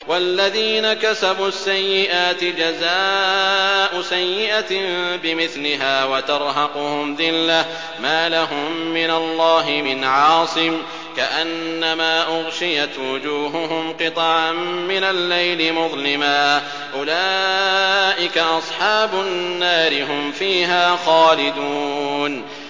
وَالَّذِينَ كَسَبُوا السَّيِّئَاتِ جَزَاءُ سَيِّئَةٍ بِمِثْلِهَا وَتَرْهَقُهُمْ ذِلَّةٌ ۖ مَّا لَهُم مِّنَ اللَّهِ مِنْ عَاصِمٍ ۖ كَأَنَّمَا أُغْشِيَتْ وُجُوهُهُمْ قِطَعًا مِّنَ اللَّيْلِ مُظْلِمًا ۚ أُولَٰئِكَ أَصْحَابُ النَّارِ ۖ هُمْ فِيهَا خَالِدُونَ